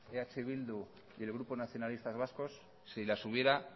eh bildu y el grupo nacionalistas vascos si las hubiera